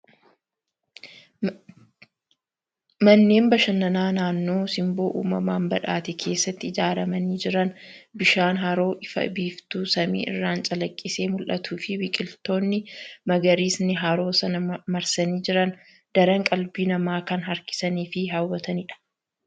Manneen bashannanaa naannoo simboo uumamaan badhaate keessatti ijaaramanii jiran. Bishaan haroo ifa biiftuu samii irraan calaqqisee mul'atuu fi biqiltoonni magariisni haroo sana marsanii jiran daran qalbii namaa kan harkisanii fi hawwatanidha.